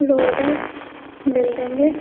Road है building है।